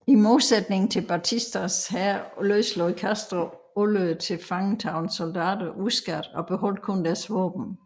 I modsætning til Batistas hær løslod Castro alle tilfangetagne soldater uskadt og beholdt kun deres våben